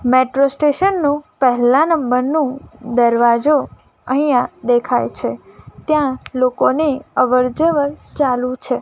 Metro station નું પહેલા નંબર નું દરવાજો અહીંયા દેખાય છે ત્યાં લોકોને અવર જવર ચાલુ છે.